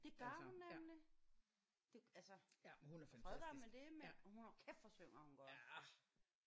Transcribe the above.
Det gør hun nemlig! Det altså og fred være med det men hun hold kæft hvor synger hun godt